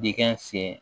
Dingɛn sen